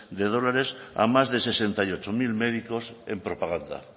de dólares a más de sesenta y ocho mil médicos en propaganda